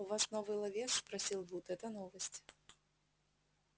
у вас новый ловец спросил вуд это новость